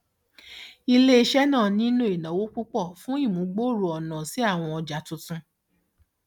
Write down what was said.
iléiṣẹ náà nílò ìnáwó púpọ fún ìmúgbòòrò ọnà sí àwọn ọjà tuntun